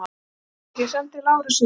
LANDSHÖFÐINGI: Sendið Lárus inn!